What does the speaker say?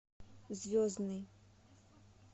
звездный